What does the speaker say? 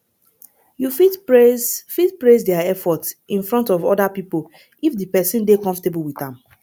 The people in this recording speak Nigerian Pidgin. you fit praise fit praise their effort in front of oda pipo if di person dey comfortable with am